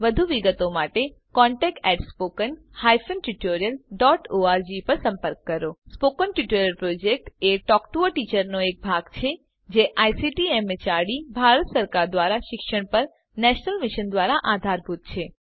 વધુ વિગતો માટે contact at spoken hyphen tutorial dot org ઉપર સંપર્ક કરો સ્પોકન ટ્યુટોરીયલ પ્રોજેક્ટ એ ટોક ટુ અ ટીચર પ્રોજેક્ટનો ભાગ છે જે આઇસીટીએમએચઆરડી ભારત સરકાર દ્વારા શિક્ષણ પર નેશનલ મિશન દ્વારા આધારભૂત છે